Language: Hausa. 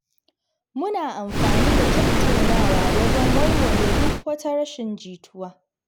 Muna amfani da tattaunawa wajen warware duk wata rashin jituwa.